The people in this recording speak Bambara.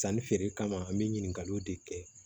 Sanni feere kama an bɛ ɲininkaliw de kɛ